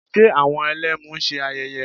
Ṣe àwọn Ẹlẹ́mu ń ṣe ayẹyẹ?